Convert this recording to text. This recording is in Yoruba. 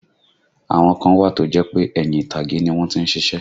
Àwọn kan wà tó jẹ́ pé ẹ̀yìn ìtàgé ni wọ́n tí ń ṣiṣẹ́